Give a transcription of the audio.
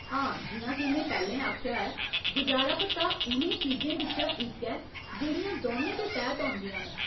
हां, जि'यां के में पैह्‌लें आखेआ ऐ, गुजारा भत्ता उ'नें चीजें बिच्चा इक ऐ जेह्ड़ियां दौनें दे तैह्त औंदियां न।